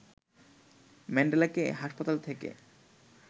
ম্যান্ডেলাকে হাসপাতাল থেকে